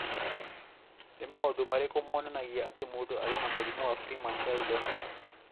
Nĩ maũndũ marĩkũ monanagia atĩ mũndũ arĩ na mũrimũ wa Freeman Sheldon?